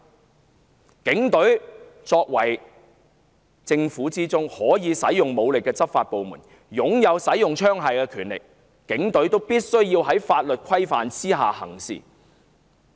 他強調，警隊是政府的執行部門，擁有使用槍械的權力，警隊必須在法律規範之下行事。